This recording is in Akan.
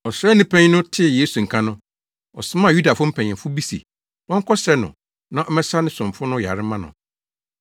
Ɔsraani panyin no tee Yesu nka no, ɔsomaa Yudafo mpanyimfo bi se wɔnkɔsrɛ no na ɔmmɛsa ne somfo no yare mma no.